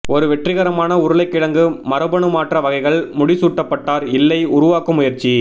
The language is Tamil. ஒரு வெற்றிகரமான உருளைக்கிழங்கு மரபணுமாற்ற வகைகள் முடிசூட்டப்பட்டார் இல்லை உருவாக்கும் முயற்சி